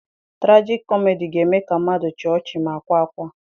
Tragicomedy ga-eme ka mmadụ chịa ọchị ma kwaa akwa.